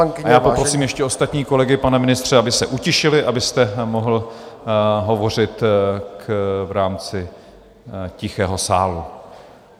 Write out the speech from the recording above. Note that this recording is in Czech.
A já poprosím ještě ostatní kolegy, pane ministře, aby se utišili, abyste mohl hovořit v rámci tichého sálu.